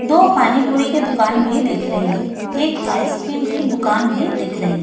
दो पानीपुरी की दुकान भी दिख रही है एक आइसक्रीम की दुकान भी दिख रही है।